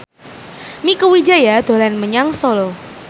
Mieke Wijaya dolan menyang Solo